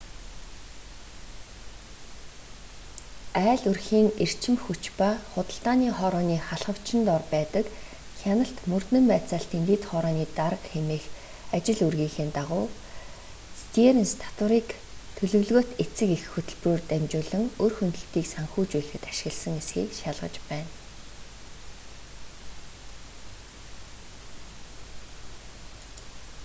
айл өрхийн эрчим хүч ба худалдааны хорооны халхавчин дор байдаг хяналт мөрдөн байцаалтын дэд хорооны дарга хэмээх ажил үүргийнхээ дагуу стеэрнс татварыг төлөвлөгөөт эцэг эх хөтөлбөрөөр дамжуулан үр хөндөлтийг санхүүжүүлэхэд ашигласан эсэхийг шалгаж байна